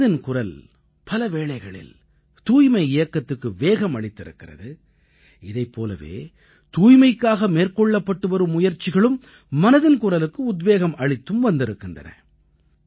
நமது மனதின் குரல் பல வேளைகளில் தூய்மை இயக்கத்துக்கு வேகம் அளித்திருக்கிறது இதைப் போலவே தூய்மைக்காக மேற்கொள்ளப்பட்டு வரும் முயற்சிகளும் மனதின் குரலுக்கு உத்வேகம் அளித்தும் வந்திருக்கின்றன